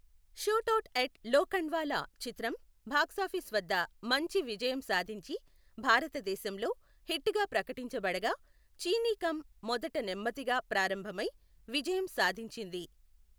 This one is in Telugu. షూటౌట్ ఎట్ లోఖండ్వాలా చిత్రం బాక్సాఫీస్ వద్ద మంచి విజయం సాధించి, భారతదేశంలో హిట్ గా ప్రకటించబడగా, చీనీ కమ్ మొదట నెమ్మదిగా ప్రారంభమై విజయం సాధించింది.